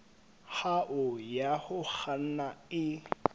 hao ya ho kganna e